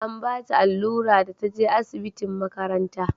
an bata allura da ta je asibitin makaranta